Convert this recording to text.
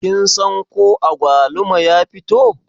Kin san ko agwaluma ya fito?